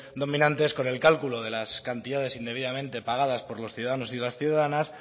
dominante es con el cálculo de las cantidades indebidamente pagadas por los ciudadanos y las ciudadanas